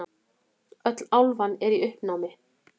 Öll álfan í uppnámi.